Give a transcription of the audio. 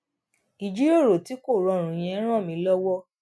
ìjíròrò tí kò rọrùn yẹn ràn mí lówó